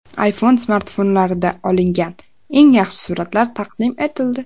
iPhone smartfonlarida olingan eng yaxshi suratlar taqdim etildi .